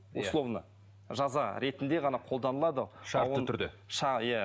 условно жаза ретінде ғана қолданылады шартты түрде иә